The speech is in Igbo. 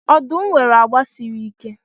Ọdụm nwere agba siri ike.